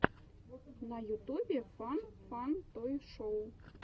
на ютубе фан фан той шоу